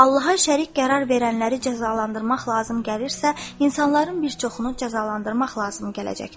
Allaha şərik qərar verənləri cəzalandırmaq lazım gəlirsə, insanların bir çoxunu cəzalandırmaq lazım gələcəkdir.